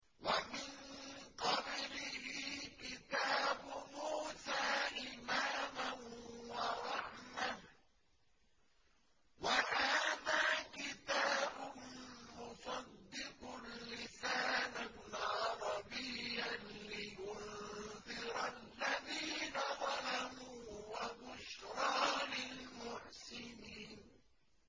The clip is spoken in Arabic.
وَمِن قَبْلِهِ كِتَابُ مُوسَىٰ إِمَامًا وَرَحْمَةً ۚ وَهَٰذَا كِتَابٌ مُّصَدِّقٌ لِّسَانًا عَرَبِيًّا لِّيُنذِرَ الَّذِينَ ظَلَمُوا وَبُشْرَىٰ لِلْمُحْسِنِينَ